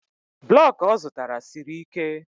blọk ọ zụtara siri ike